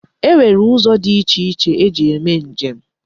E nwere ụzọ dị iche iche eji eme njem.